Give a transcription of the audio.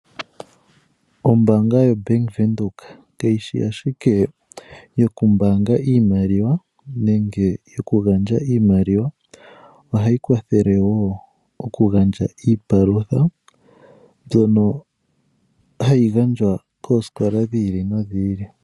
Ombaanga yoBank Windhoek kayishi ashike yokumbaanga iimaliwa nenge yokugandja iimaliwa. Ohayi kwathele wo okugandja iipalutha mbyono hayi gandjwa koosikola dhi ili nodhi ili.